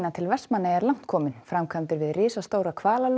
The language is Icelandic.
til Vestmannaeyja er langt kominn framkvæmdir við risastóra